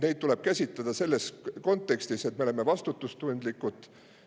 Neid tuleb käsitleda selles kontekstis, et me oleme vastutustundlikud.